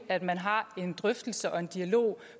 at man har en drøftelse og en dialog